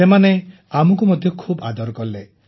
ସେମାନେ ଆମକୁ ମଧ୍ୟ ଖୁବ ଆଦର କଲେ